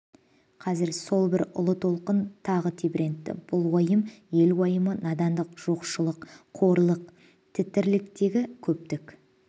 қазір сол бір ұлы толқын тағы тебірентті бұл уайым ел уайымы надандық жоқшылық қорлық тірліктегі көптің